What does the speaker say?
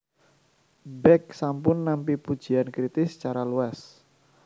Beck sampun nampi pujian kritis secara luas